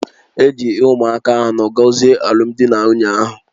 E ji ụmụaka anọ gọzie alụmdi na nwunye ahụ